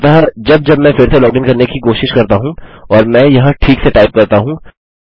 अतः अब जब मैं फिर से लॉगिन करने की कोशिश करता हूँ और मैं यह ठीक से टाइप करता हूँ